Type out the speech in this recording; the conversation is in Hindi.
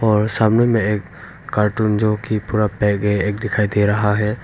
और सामने में एक कार्टून जोकि पूरा पैक है एक दिखाई दे रहा है।